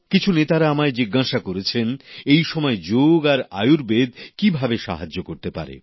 কিছু নেতারা আমায় জিজ্ঞাসা করেছেন এই সময়ে যোগ আর আয়ুর্বেদ কিভাবে সাহায্য করতে পারে